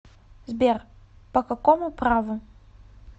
сбер по какому праву